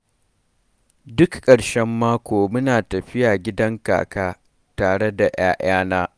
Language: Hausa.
Duk ƙarshen mako muna tafiya gidan kaka tare da 'ya'yana.